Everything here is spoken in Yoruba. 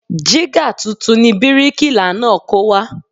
Jígà tuntun ni bíríkìlà náà kó wá